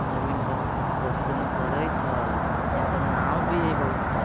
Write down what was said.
जमीन पर कथी दुन करइत हइ यहाँ पर नाव भी हइ बहुत आ ।